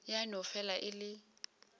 ya no fela e le